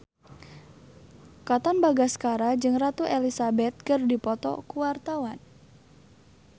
Katon Bagaskara jeung Ratu Elizabeth keur dipoto ku wartawan